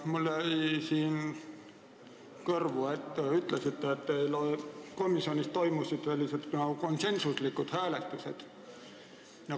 Mulle jäi siin kõrvu, kui te ütlesite, et komisjonis toimusid konsensuslikud hääletused.